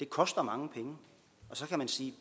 koster mange penge og så kan man sige